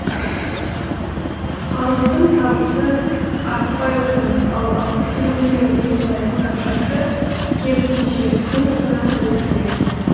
халықтың табысы артпай отыр ал азық түлігіне жұмсайтын ақшасы керісінше күн санап өсуде